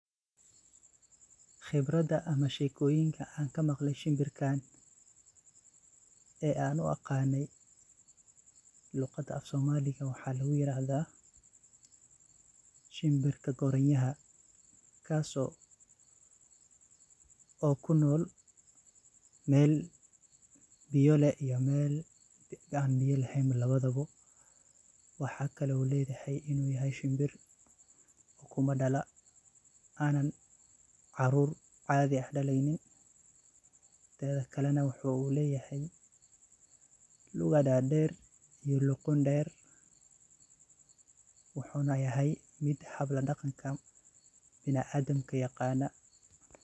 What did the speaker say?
Khibrada ama sheekoyinka ann kamaqley shimbirkaan ee ann u aqaaney luqadda afsoomliga waxa lagu yirahdaa shimbirka goriyaha. Kas oo ku nool meel biyo leh iyo meel ann biyo leheen labadaba. Waxa kale uu leeyahay in uu yahay shimbir ukumo dala aanan caruur caadi ah daleynin. Tedhkale, wuxuu leeyahay lugo dhaadheer iyo luqun dheer, wuxuuna yahay mid habl daqanka binaadinka yiqaana.